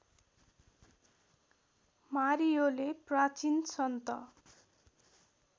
मारियोले प्राचीन सन्त